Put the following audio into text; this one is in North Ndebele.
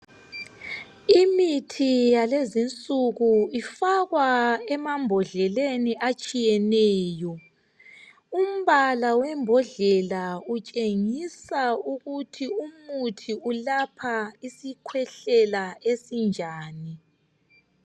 Imithi yalezi nsuku ifakwa emabhodleleni atshiyeneyo umbala wembodlela utshengisa ukuthi umuthi ulapha isikwehlela esinjani